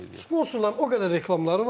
Sponsorların o qədər reklamları var.